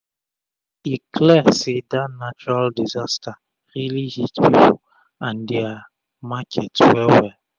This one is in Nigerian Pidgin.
e clear say dat natural disaster rili hit pipu and dia and dia market wel wel